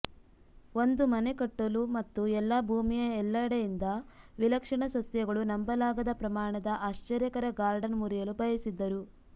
ಒಂದು ಮನೆ ಕಟ್ಟಲು ಮತ್ತು ಎಲ್ಲಾ ಭೂಮಿಯ ಎಲ್ಲೆಡೆಯಿಂದ ವಿಲಕ್ಷಣ ಸಸ್ಯಗಳು ನಂಬಲಾಗದ ಪ್ರಮಾಣದ ಆಶ್ಚರ್ಯಕರ ಗಾರ್ಡನ್ ಮುರಿಯಲು ಬಯಸಿದ್ದರು